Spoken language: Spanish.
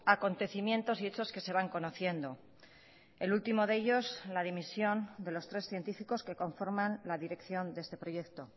acontecimientos y hechos que se van conociendo el último de ellos la dimisión de los tres científicos que conforman la dirección de este proyecto